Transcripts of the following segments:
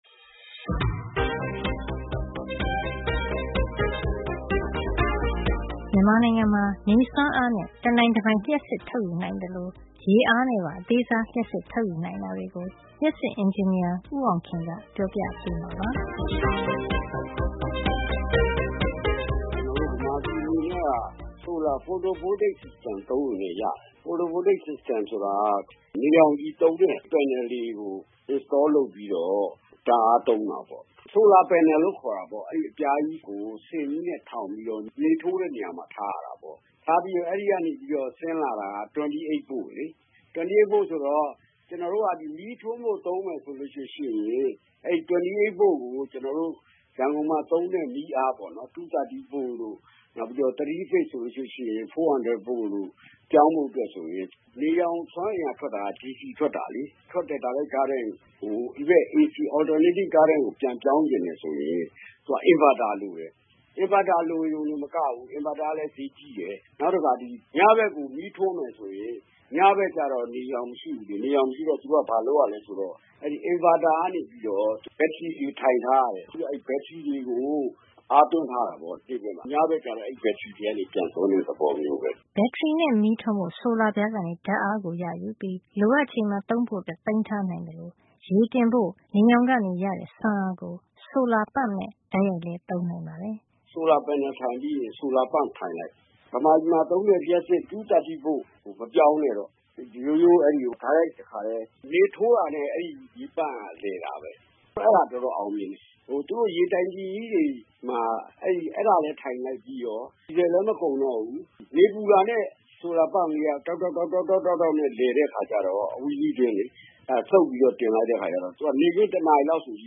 မြန်မာနိုင်ငံမှာ နေစွမ်းအားနဲ့ တနိုင်တပိုင် လျှပ်စစ်ထုတ်ယူနိုင်သလို ရေအားနဲ့ပါ အသေးစား လျှပ်စစ်ထုတ်ယူနိုင်တာတွေကို လျှပ်စစ်အင်ဂျင်နီယာ ဦးအောင်ခင်က ပြောပြပေးမှာပါ။ “မြန်မာပြည် အနေနဲ့က photo voltage system ကို သုံးမယ် ဆိုရင်လည်း ရတယ်။ အဲဒီ photo voltage system ဆိုတာက နေရောင်ခြည် သုံးတဲ့ panel အပြား တွေကို တပ်ဆင်ပြီးတော့ ဓါတ်အားသုံးတာပါ။ အဲဒါကို ဆိုလာ panel လို့ ခေါ်တာပေါ့။ အဲဒီ အပြားကြီးကို စင်ကြီးနဲ့ ထောင်ပြီး နေထိုးတဲ့ နေရာမှာ ထားရတယ်။ အဲဒီကနေပြီး ဆင်းလာတာက ၂၈ ဗို့ volt လေ။ ကျနော်တို့က မီးထွန်းဖို့ သုံးမယ် ဆိုရင် အဲဒီ ၂၈ ဗို့ကို ကျနော်တို့ ရန်ကုန်မှာ သုံးတဲ့ မီးအားပေါ့နော်။ ၂၃၀ ဗို့တို့ နောက် ၄၀၀ ဗို့တို့ကို ပြောင်းဖို့ဆိုရင် နေရောင် စွမ်းအင်က ထွက်တာက DC ထွက်တာလေ။ ထွက်တဲ့ DC ကို ဒီဘက် AC ကို ပြောင်း ချင်တယ် ဆိုရင် သူက inverter လိုတယ်။ သူက ဈေးကြီးတယ်။ နောက်တခါ ညဘက်ကို မီးထွန်းမယ် ဆိုရင် ညဘက်ကျတော့ နေရောင် မရှိဘူးလေ။ နေရောင်မရှိတော့ သူက ဘာလုပ်ရသလဲ ဆိုတော့၊ အဲဒီ inverter ကနေပြီးတော့ ဘက်ထရီတွေ ထိုင်ထားရတယ်။ သူက အဲဒီဘက်ထရီတွေကို အားသွင်းထားရတယ် ပေါ့ နေ့ဘက်မှာ။ ညဘက်ကျတော့ အဲဒီဘက်ထရီတွေကနေ ပြန်သုံးတဲ့ သဘောပဲ။” ဘက်ထရီနဲ့ မီးထွန်းဖို့ ဆိုလာပြားကနေ ဓါတ်အားကိုရယူပြီး လိုအပ်ချိန်မှာ သုံးဖို့သိမ်းထားနိုင်သလို နေရောင်ကရတဲ့ စွမ်းအားကို ဆိုလာပန့်နဲ့ တိုက်ရိုက်လည်းသုံးနိုင်ပါတယ်။ “ဆိုလာ panel ထိုင်ပြီးရင် ဆိုလာပန့် solar pump ထိုင်လိုက်။ မြန်မာပြည်မှာ သုံးတဲ့ ၂၃၀ ဗို့ ကို မပြောင်းနဲ့တော့။ ရိုးရိုး အဲဒီလို တိုက်ရိုက် တခါထဲ၊ နေထိုးတာနဲ့ အဲဒီရေပန့်က လည်တာပဲ။ အဲဒါ တော်တော် အောင်မြင်တယ်။ သူတို့ ရေတိုင်ကီကြီးတွေမှာ အဲဒါလည်း ထိုင်လိုက်ပြီးရော ဒီဇယ်လည်း မကုန်တော့ဘူး။ နေပူတာနဲ့ ဆိုလာပန့်လေးက တောက်တောက် တောက်တောက်နဲ့ လည်တဲ့ အခါကျတော့ အဝီစိတွင်းလေ။ အဲဒါ စုပ်ပြီးတော့ တင်လိုက်တဲ့ အခါ ကျတော့ သူက နေ့ခင်း တနာရီလောက် ဆို ရေ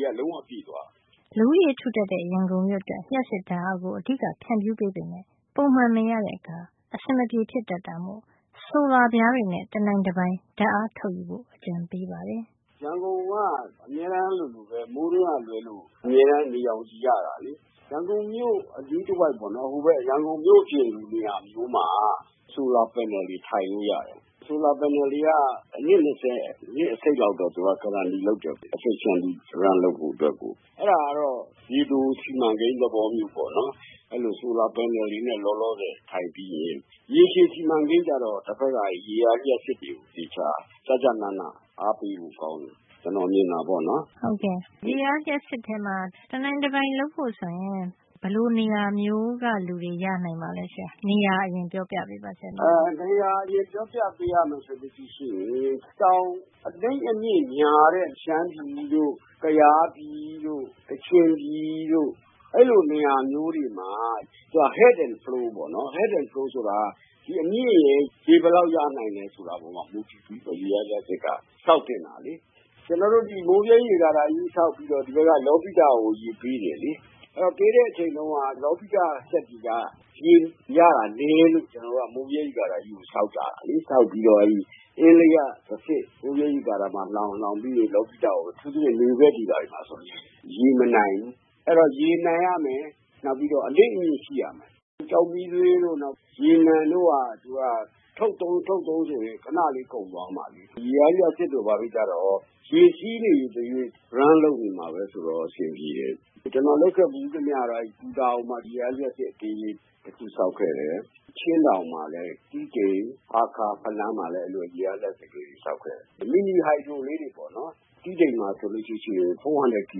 က လုံးဝ ပြည့်သွားတယ်။” လူဦးရေထူထပ်တဲ့ ရန်ကုန်မြို့အတွက် လျှပ်စစ်ဓါတ်အားကို အဓိကပေးပေမယ့် ပုံမှန်မရတဲ့အခါ အဆင်မပြေဖြစ်တတ်တာမို့ ဆိုလာပြားတွေနဲ့ တနိုင်တပိုင် ဓါတ်အားထုတ်ယူဖို့ အကြံပေးပါတယ်။ “ရန်ကုန်က အမြဲတမ်းလိုလိုပဲ မိုးတွင်းက လွဲလို့ အမြဲတမ်း နေရောင်ခြည် ရတာလေ။ ရန်ကုန်မြို့ အနီးတဝိုက်ပေါ့လေ။ ဟိုဘက် ရန်ကုန် မြို့ပြင်လို နေရာမျိုးမှာ ဆိုလာ panel တွေ ထိုင်လို့ရတယ်။ ဆိုလာပြားတွေက အနှစ် ၂၀ အနှစ် အစိတ်လောက် သူက အာမခံ grantee လုပ်တော့ သူက ထိရောက်မှု အာမခံတယ်။ အဲဒါကတော့ ရေတို စီမံကိန်း သဘောမျိုးပေါ့။ အဲဒီလို ဆိုတာပြားတွေနဲ့ လောလောဆယ် ထိုင်ပြီးရင် ရေရှည် စီမံကိန်းကျတော့ တဖက်က အဲဒီ ရေအားလျှပ်စစ် တွေကို သေသေချာ ကျကျနန အားပေးဖို့ ကောင်းတယ်။ ကျနော် မြင်တာပေါ့နော်။” ရေအားလျှပ်စစ်ထဲမှာ တနိုင်တပိုင် လုပ်ဖို့ ဆိုရင် ဘယ်လို နေရာမျိုးမှာ နေတဲ့ လူတွေ ရနိုင်မှာပါလဲ။ “နေရာ အရင်ပြောပြပေးရမယ် ဆိုရင် တောင် အနိမ့်အမြင့် များတဲ့ ရှမ်းပြည်တို့၊ ကယားပြည်တို့၊ ကချင်ပြည်တို့၊ အဲဒီလို နေရာမျိုးတွေမှာ သူက head and flow ပေါ့နော်။ အဲဒီ head and flow ဆိုတာက မြင့်ရင် ရေဘယ်လောက်ရနိုင်မလဲ ဆိုတာပေါ် မူတည်ပြီးတော့ ရေအားလျှပ်စစ်က ဆောက်သင့်တာလေ။ ကျနော်တို့ ဒီ မိုးဗြဲ ရေကာတာကြီး ဆောက်ပြီးတော့ ဒီဘက်က လောပိတကို ရေပေးတယ်လေ။ အဲဒီ ပေးတဲ့ အချိန်တုန်းက လောပိတက စက်တွေက ရေရတာ နဲလို့ ကျနော်တို့က မိုးဗြဲ ရေကာတာကြီးကို ဆောက်တာ။ ဆောက်ပြီးတော့ အင်းလေးက တဆင့် မိုးဗြဲရေကာတာမှာ လှောင်၊ လှောင်ပြီးရင် လောပိတကိုပေး၊ အထူးသဖြင့် နွေဘက်တွေ ဘာတွေ မှာဆို ရေမနိုင်ဘူး။ အဲဒီတော့ ရေနိုင်ရမယ်၊ နောက်ပြီးတော့ အနိမ့်အမြင့် ရှိရမယ်။ ကျောက်မီးသွေးတို့၊ ရေနံတို့က သူက ထုတ်သုံး ထုတ်သုံးရင် ခဏလေး ကုန်သွားမှာလေ။ ရေအားလျှပ်စစ်တို့ ဘာတို့ကျတော့၊ ရေစီးနေသရွေ့ run လုပ်နေ လည်ပတ်နေမှာပဲ ဆိုတော့ တော်တော် အဆင်ပြေတယ်။” “ကျနော် လုပ်ခဲ့ ဘူးသမျှကတော့ အဲဒီ ပူတာအိုမှာ ရေအားလျှပ်စစ် အသေးလေး တခု ဆောက်ခဲ့ တယ်။ အဲဒီ ချင်းတောင်မှာလည်း တီးတိန်၊ ဟားခါး၊ ဖလမ်း၊ မှာလည်း အဲဒီလို ရေအားလျှပ်စစ် အသေးလေးတွေ ဆောက်ခဲ့တယ်။ မီနီဟိုက်ဒရိုလေးတွေပေါ့နော်။ တီးတိန်မှာ ဆိုလို့ရှိရင် ၄၀၀ ကီ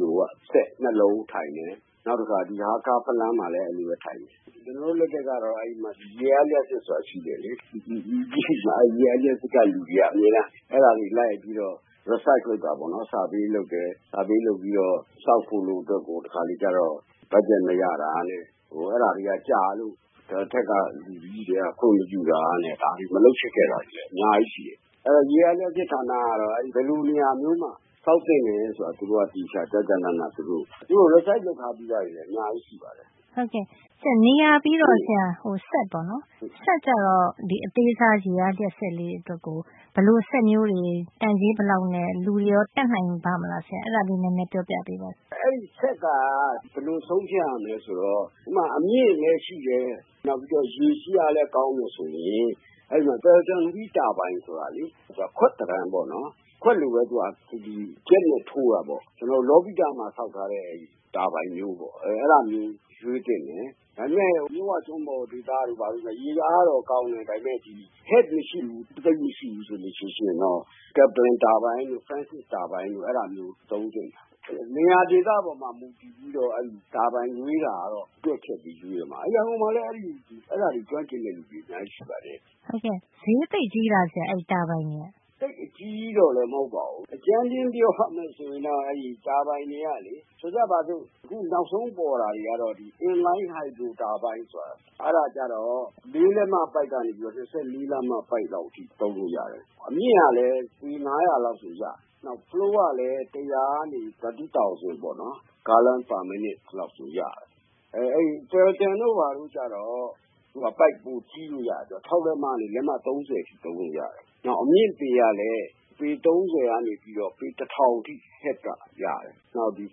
လိုဝပ်၊ စက် ၂ လုံးထိုင်တယ်။ နောက်တခါ ဟားခါး၊ ဖလမ်းမှာလည်း အဲဒီလိုပဲ ထိုင်တယ်။ ကျနော်တို့ လက်ထက်တုန်းက ရေအား လျှပ်စစ် ဆိုတာ ရှိတယ်လေ။ အဲဒီ ရေအားလျှပ်စစ်က လူတွေက အဲဒါတွေ အမြဲတမ်း လိုက်ပြီးတော့ survey တိုင်းတာတာ ပေါ့နော်။ ပြီးတော့ research သုတေသန လုပ်တာပေါ့နော်။ တိုင်းတာပြီးတော့ ဆောက်ဖို့လို့ အတွက် ကတော့ တခါတလေ ကျတော့ ဘတ်ဂျက် မရတာနဲ့ ဘာနဲ့ ဆိုတော့ အဲဒါတွေက ကြာလို့ အထက်က လူတွေက ခွင့်မပြုတာနဲ့ ဘာနဲ့ မလုပ်ဖြစ်ခဲ့တာက အများကြီး ရှိတယ်။ အဲဒီရေအား လျှပ်စစ် ဌာနကတော့ ဘယ်လိုနေရာမျိုးမှာ ဆောက်သင့်တယ် ဆိုတာ သူတို့က သေချာ ကျကျနန အဲဒါ သူတို့ သုတေသန လုပ်ထားတာတွေ အများကြီး ရှိတယ်။” နေရာပြီးတော့ စက်အမျိုးအစားပေါ့နော်။ စက်ကျတော့ ဒီအသေးစား ရေအားလျှပ်စစ် အတွက်ကို ဘယ်လိုစက်မျိုးကို တန်ကြေးဘယ်လောက်ရှိပြီး သုံးမယ့်သူတွေကရော တတ်နိုင်ပါ့မလား။ အဲဒါလေး ပြောပြပေးပါဆရာ။ “အဲဒီ စက်က ဘယ်လို ဆုံးဖြတ်ရမလဲ ဆိုတော့ ဥပမာ အမြင့်လည်း ရှိတယ်။ နောက်ပြီးတော့ ရေစီးအားလည်း ကောင်းမယ် ဆိုရင် အဲဒီမှာ ပယ်လ်တန်ဝှီး တာဘိုင်ဆိုတာ သူက ခွက်သဏ္ဍာန်ပေါ့နော်။ သူက ခွက်လိုပဲ သူက ဂျက်နဲ့ ထိုးရတာပေါ့။ ကျနော်တို့ လောပိတမှာ ဆောက်ထားတဲ့ တာဘိုင်မျိုးပေါ့။ အဲဒါမျိုး ရွေးသင့်တယ်။ ဒါပေမယ့် မြစ်ဝကျွန်းပေါ်ဒေသ တို့ ဘာတို့ ဆို ရေအားကတော့ ကောင်းတယ်၊ ဒါပေမယ့် head မရှိဘူး။ သိပ်မရှိဘူး ဆိုလို့ ရှိရင်တော့ ကက်ပလင် တာဘိုင်တို့၊ ဖရန်းစစ် တာဘိုင်တို့၊ အဲဒါမျိုးတွေ၊ သုံးသင့်တယ်။ ဆိုတော့ နေရာ ဒေသပေါ်မှာ မူတည်ပြီးတော့ အဲဒီ တာဘိုင်ရွေးတာကတော့ တွက်ချက်ပြီး ရွေးမှ။ ရန်ကုန်မှာလည်း အဲဒါတွေ ကျွမ်းကျင်တဲ့ လူတွေ အများကြီး ရှိပါတယ်။” ဟုတ်ကဲ့ ဈေးသိပ်ကြီးလား ဆရာ။ အဲဒီတာဘိုင်တွေက “သိပ်အကြီးကြီးတော့လဲ မဟုတ်ပါဘူး။ အကြမ်းဖျင်း ပြောရမယ် ဆိုလို့ ရှိရင် တော့ အဲဒီ တာဘိုင်တွေက၊ ဆိုကြပါစို့။ အခုနောက်ဆုံး ပေါ်တာတွေ ကတော့ inline hydro turbine ဆိုတာ အဲဒါကျတော့ ၄ လက်မ ပိုက်ကနေ ၂၄ လက်မ ပိုက်လောက် အထိ သုံးလို့ရတယ်။ အမြင့်ကလည်း ပေ ၅၀၀ လောက်ဆို ရတယ်။ နောက် flow ကလည်း တမိနစ်ကို ဂါလံပေါင်း ၁၀၀ ကနေ ၃၀ ၀၀၀ လောက်အထိကို ရတယ်။ အဲဒီ ပယ်လ်တန်တို့ ဘာတို့ကျတော့၊ သူက ပိုက် ပိုကြီးလို့ ရတယ်။ ၆ လက်မကနေ လက်မ ၃၀ အထိ သုံးလို့ရတယ်။ နောက် အမြင့်ပေကလည်း ပေ ၃၀ ကနေပြီးတော့ ပေတထောင်အထိ head က ရတယ်။ နောက်ဒီ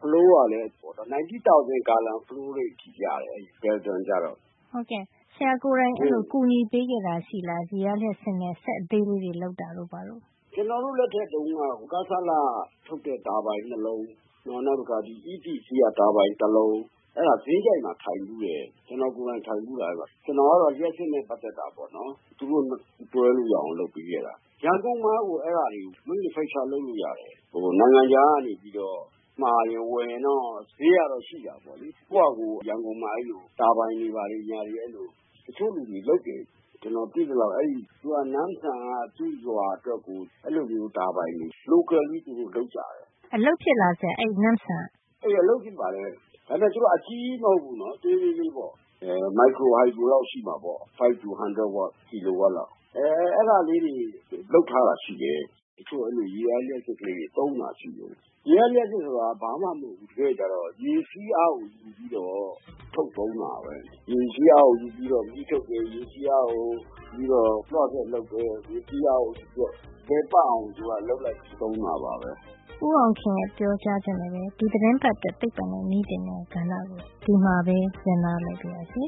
flow ကလည်း ၁၉ ၀၀၀ ဂါလံ flow rate အထိ ရတယ်။ ပယ်လ်တန် တာဘိုင်ကျတော့။” ဟုတ်ကဲ့။ ဆရာကိုယ်တိုင် အဲဒါ ကူညီပေးခဲ့တာ ရှိသလား။ ရေအားလျှပ်စစ်နဲ့ စက်အသေးလေးတွေ ပေါ့။ “ကျနော်တို့ လက်ထက်တုန်းက ကဆလ- က ထုတ်တဲ့ တာဘိုင် ၂ လုံး။ နောက် EPC က ထုတ်တဲ့ တာဘိုင် တလုံး။ အဲဒါ ဇင်းကျိုက်မှာ ထိုင်ဘူးတယ်။ ကျနော်ကိုယ်တိုင် ထိုင်ဘူးတာ အဲဒီတုန်းက။ ကျနော်ကတော့ လျှပ်စစ်နဲ့ ပတ်သက်တာပေါ့နော်။ သူတို့ တွဲမိအောင် လုပ်ပေးခဲ့တာ။ ရန်ကုန်မှာကို အဲဒါတွေ manufacture လုပ် - ထုတ်လို့ရတယ်။ နိုင်ငံခြားကနေပြီးတော့ မှာရင် ဝယ်ရင်တော့ ဈေးကတော့ ရှိတာပေါ့။ ကိုယ့်ဟာကိုယ် ရန်ကုန်မှာ အဲဒီလို တာဘိုင်တွေ ဘာတွေ တချို့လူတွေ လုပ်တယ်။ ကျနော်သိသလောက် အဲဒီ နမ်းဆန်မှာ locally သူတို့ လုပ်ကြတယ်။” အလုပ်ဖြစ်လား ဆရာ။ အဲဒီနမ့်ဆမ်က။ “အလုပ်ဖြစ်ပါတယ်။ ဒါပေမယ့် သူတို့က အကြီးကြီး မဟုတ်ဖူးနော်။ သေးသေးလေးပေါ့။ မိုက်ခရိုဟိုက်ဒရိုလောက် ရှိမှာပေါ့။ ၅ ကနေ ၁၀၀ ကီလိုဝပ်လောက်။ အဲဒါလေးတွေ လုပ်ထားတာ ရှိတယ်။ တချို့ ရေအားလျှပ်စစ်လေးတွေ သုံးနေတာ ရှိတယ်။ ရေအားလျှပ်စစ် ဆိုတာ ဘာမှ မဟုတ်ဖူး။ တကယ့်တကယ်ကျတော့ ရေစီးအားကို ယူပြီးတော့ ထုတ်သုံးတာပဲ။ ရေစီးအားကို ယူပြီးတော့ မီးထုတ်တယ်။ ရေစီးအားကို ယူပြီးတော့ လွှစက် လုပ်တယ်။ ရေစီးအားကို ယူပြီးတော့ လည်ပတ်အောင် သူက လုပ်လိုက် ပြီးတော့ သုံးတာပါပဲ။” ဦးအောင်ခင်ရဲ့ ပြောကြားချက်နဲ့ပဲ ဒီသီတင်းပတ်အတွက် သိပ္ပံနဲ့ နည်းပညာကဏ္ဍကို ဒီမှာပဲ ရပ်နားလိုက်ပါရစေ